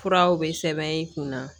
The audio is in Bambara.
Furaw bɛ sɛbɛn i kun na